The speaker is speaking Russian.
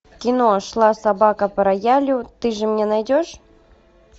кино шла собака по роялю ты же мне найдешь